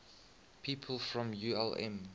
people from ulm